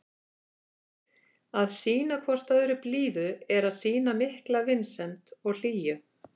Að sýna hvort öðru blíðu er að sýna mikla vinsemd og hlýju.